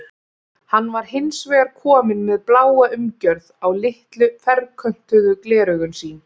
Hann var hins vegar kominn með bláa umgjörð á litlu ferköntuðu gleraugun sín.